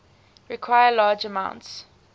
require large amounts